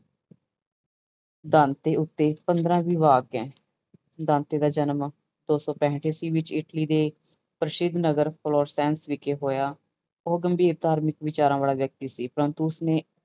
Dante ਉੱਤੇ ਪੰਦਰਾਂ ਵਿਭਾਗ ਹੈ ਦਾਂਤੇ ਦਾ ਜਨਮ ਦੋ ਸੌ ਪੈਂਹਠ ਈਸਵੀ ਵਿੱਚ ਇਟਲੀ ਦੇ ਪ੍ਰਸਿੱਧ ਨਗਰ ਵਿਖੇ ਹੋਇਆ, ਉਹ ਗੰਭੀਰ ਧਾਰਮਿਕ ਵਿਚਾਰਾਂ ਵਾਲਾ ਵਿਅਕਤੀ ਸੀ ਪਰੰਤੂ ਉਸਨੇ